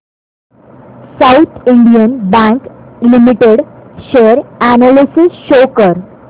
south Indian Bank Limited share analysis show कर